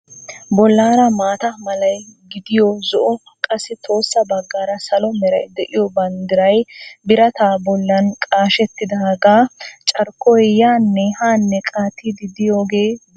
Bollaara maata malay giddoy zo"o qassi tohossa baggaara salo meray de"iyoo banddiray birataa bollan qashettidaagaa carkkoy yaanne haanne qaattiiddi diyoogee beettees.